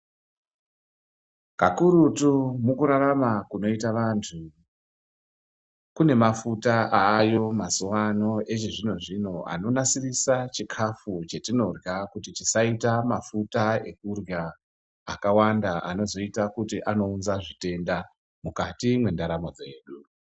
Kakurutu mukurarama kwakuita antu, kune mafuta ayo mazuano echizvino zvino anonasirisa chikafu chetinorya kuti chisaite mafuta kurya akawanda anoita kuti anounza zvitenda mukati mwendaramo dzedu.